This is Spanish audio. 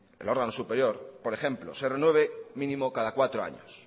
el órgano superior por ejemplo se renueve mínimo cada cuatro años